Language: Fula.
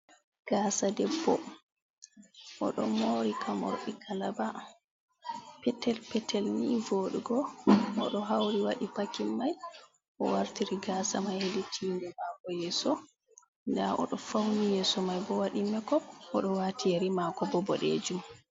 Gaasa debbo, o ɗo moori ka moorɗi kalaba petel petel, ni vooɗugo. O ɗo hawri waɗi pakin may, o wartiri gaasa may, hedi tiinde maako yeeso. Ndaa o ɗo fawni yeeso may bo, waɗi mek op. O ɗo waati yeri maako bo boɗeejum.